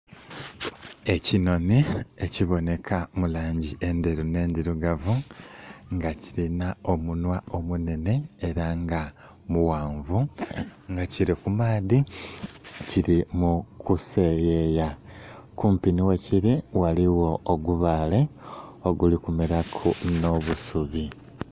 Ekinonhi ekibonheka mulangi endheru n'ndhirugavu nga kirina omunhwa omunhenhe era nga muwanvu nga kiri kumaadhi kimukuseyeya kumpi nhi wekiri ghaligho ogubaale oguli kumeraku n'obusubi.